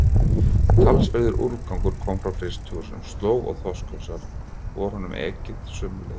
Talsverður úrgangur kom frá frystihúsunum, slóg og þorskhausar, og honum var ekið sömu leið.